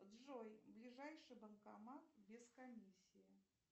джой ближайший банкомат без комиссии